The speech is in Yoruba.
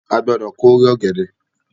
A gbọdọ k'ore ọgẹdẹ!